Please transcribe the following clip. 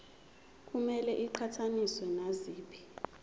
kumele iqhathaniswe naziphi